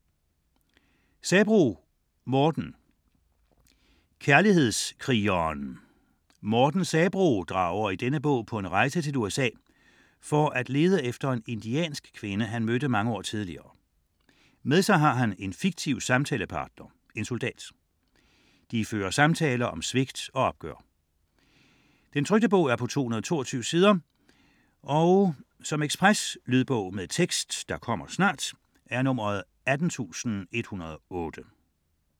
Sabroe, Morten: Kærlighedskrigeren Morten Sabroe drager i denne bog på en rejse til USA, for at lde efter en indiansk kvinde han mødte mange år tidligere. Med sig har han en fiktiv samtalepartner, en soldat. De fører samtaler om svigt og opgør. 2008, 222 sider. Lydbog med tekst 18108 Ekspresbog - kommer snart